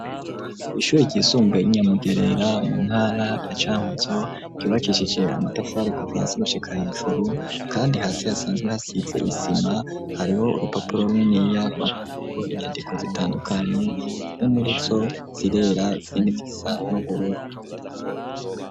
Ishure ryisumbuye ry'inyamugerera mu ntara ya camuzo ryubakishije amatafare kuva hasi gushika hejuru kandi hasi hasanzwe hasize isima hariho urupapuro runini rwanditseko inyandiko zitandukanye zimwe murizo zirera izindi zisa n'ubururu.